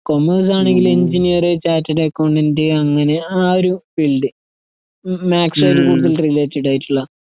കൊമേഴ്‌സാണെങ്കില് engineer, chartered accountant അങ്ങനെ ആഒരു field. മ്മാസ്സ്‌വേർഡ്ഗുഡ്‌വിൽറിലേറ്റഡായിട്ടുള്ള